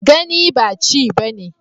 Gani ba ci bane